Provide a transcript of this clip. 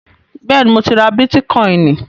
Bẹ́ẹ̀ni, mo ti ra bítíkọìnì.